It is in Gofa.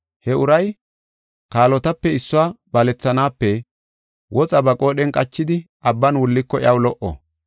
He uray kaalotape issuwa balethanaape woxa ba qoodhen qachidi abban wulliko iyaw lo77o.